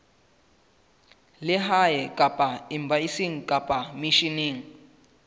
lehae kapa embasing kapa misheneng